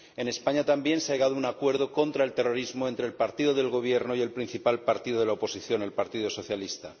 En España también se ha llegado a un acuerdo contra el terrorismo entre el partido del Gobierno y el principal partido de la oposición, el Partido Socialista.